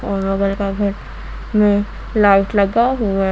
और बगल का घर में लाइट लगा हुआ--